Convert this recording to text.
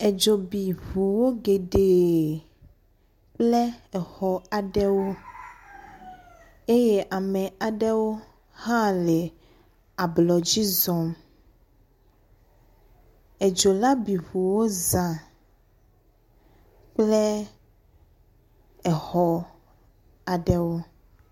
Edzo bi ŋu geɖe kple exɔ aɖewo eye ame aɖewo hã le ablɔ dzi zɔm. edzo la bi ŋuwo zã kple exɔ aɖewo.